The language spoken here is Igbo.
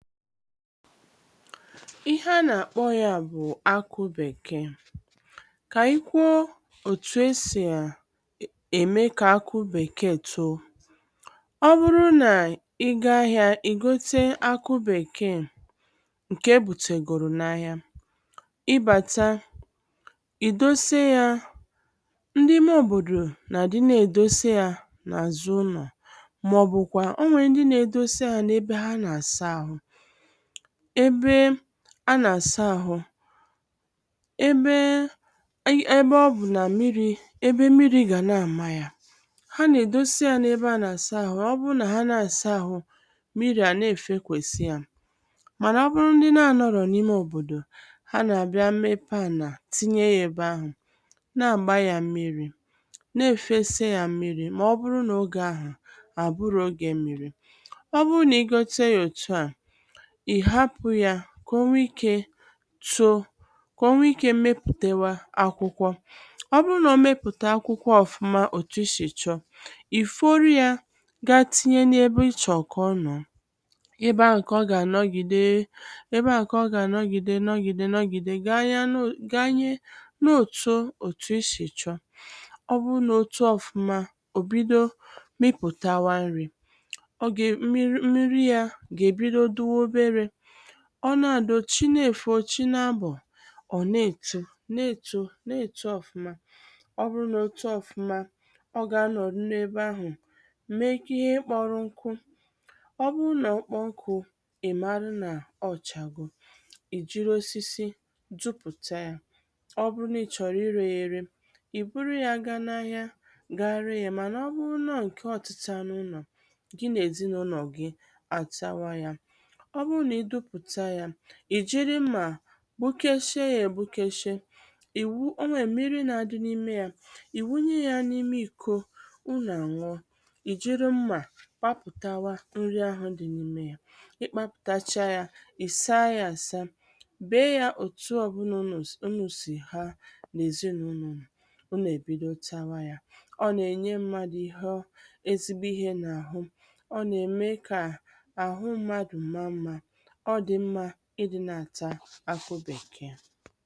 ihe a nà-àkpọ ya bụ̀ akụ bèkee kà anyị̀ kwuo òtù esì a ème kà akụ bèkee too ọ nwụrụ nà ị gaa ahịā ì gote akụ bèkee ǹkè e bùtègòrò n’ahịa ị bàta ì dose yā ndị ime òbòdò nọ̀dị na-èdose yā n’àzụ ụlọ̀ màọbụ̀kwà ọ nwèrè ndị na-edosa yā ebe ha nà-àsa àhụ ebe a nà-àsa àhụ ebe e ebe ọ bụ̀ nà mmịrị̄ ebe mmịrị gà na-àma yā ha nà-èdosa yā ebe ha nà-àsa àhụ ọ bụrụ nà ha na-àsa àhụ mmịrị̄ a na-èfekwèsi yā mànà ọ bụrụ ndị na anọ̄rọ̀ n’ime òbòdò ha nà-àbịa mepe ànà tinye ya ebe ahụ̀ na-àgba ya mmịrị̄ na-èfesa ya mmịrị̄ mà ọ bụrụ nà ogè ahụ̀ à bụrọ ogē mmịrị̄ ọ bụrụ nà i gote yā òtu à ị̀ hapụ yā kà o nwee ike too kà o nwee ike mmepùtewa akwụkwọ ọ bụrụ nà o mepụ̀ta akwụkwọ ọ̀fụma òtù i shì chọọ ì fọrọ yā gaa tinye n’ebe i chọ̀rọ̀ kà ọ nọ̀ọ ebe ahụ̀ kà ọ gà-ànọgìde ebe ahụ̀ kà ọ gà-ànọgìde nọgìde nọgìde ganyenu ganye ruo òtu òtù i sì chọọ ọ bụrụ nà o too ọ̀fụma ò bido mịpụ̀tawa nri ọ gà nri nriri yā gà-èbido dịwa oberē ọ na-àdo chi na-èfo chi na-abọ̀ ọ̀ na-èto na-èto na-èto ọ̀fụma ọ bụrụ nà o too ọ̀fụma ọ gà-anọ̀rụ n’ebe ahụ̀ mee ka ihe kpọro nku ọ bụrụ nà ọ kpọọ nkū ị̀ marụ nà ọ chago ì jiri osisi dụpụ̀ta yā ọ bụrụ nà ị chọ̀rọ̀ irē ya ere ì buru ya gaa n’ahịa gaa ree ya mànà ọ bụrụ na ọ ǹkè ọ̀tịta n’ụnọ̀ gi nà èzinàụlọ̀ gi àtawa yā ọ bụrụ nà ị dụpụ̀ta yā ì jiri mmà gbukeshie ya ègbukeshie ì wu ọ nwèrè mmịrị̄ na-adị n’ime yā ì wunye ya n’ime ị̀kọ unù àṅụọ ì jiri mmà kpapụ̀tawa nri ahụ̀ di n’ime yā ị kpapụ̀tacha yā ị̀ saa ya àsa bee yā òtu ọ̀bụna unū sì ha n’èzinàụnọ̀ unù unù èbido tawa yā ọ nà-ènye mmadụ̀ ihe ọ ezigbo ihē n’àhụ ọ nà-ème kà àhụ mmadụ̀ maa mmā ọ dị̀ mmā i dị̄ na-àta akụ bèkee